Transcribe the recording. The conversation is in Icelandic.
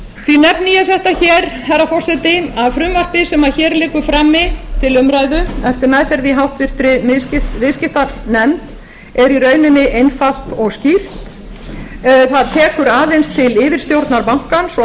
því nefni ég þetta hér herra forseti að frumvarpið sem hér liggur frammi til umræðu eftir meðferð í háttvirtri viðskiptanefnd er í rauninni einfalt og skýrt það tekur aðeins til yfirstjórnar bankans og